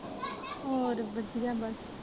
ਹੋਰ ਵਧੀਆ ਬਸ